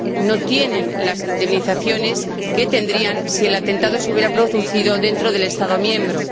no tienen las indemnizaciones que tendrían si el atentado se hubiera producido dentro de un Estado miembro.